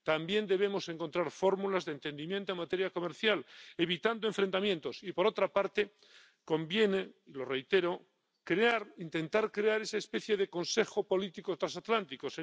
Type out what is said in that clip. También debemos encontrar fórmulas de entendimiento en materia comercial, evitando enfrentamientos y, por otra parte, conviene —lo reitero-intentar crear esa especie de consejo político transatlántico